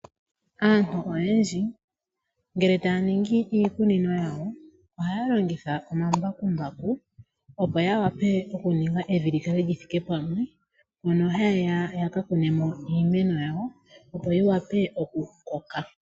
Aantu oyendji ngele taya ningi iikunino yawo, ohaya longitha omambakumbaku opo ya wape okuninga evi li kale li thike pamwe, moka haye ya ya kune mo iimeno yawo opo yi wape oku koka.